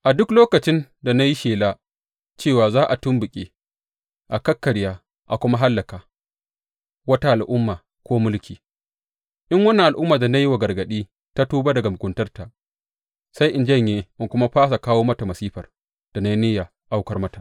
A duk lokacin da na yi shela cewa za a tumɓuke, a kakkarya a kuma hallaka wata al’umma ko mulki, in wannan al’ummar da na yi wa gargaɗi ta tuba daga muguntarta, sai in janye in kuma fasa kawo mata masifar da na yi niyya aukar mata.